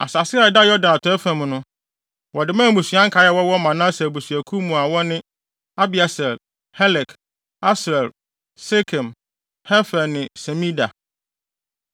Asase a ɛda Yordan atɔe fam no, wɔde maa mmusua nkae a wɔwɔ Manase abusuakuw mu a wɔn ne: Abieser, Helek, Asriel, Sekem, Hefer ne Semida.